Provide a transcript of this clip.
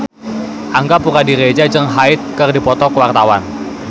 Angga Puradiredja jeung Hyde keur dipoto ku wartawan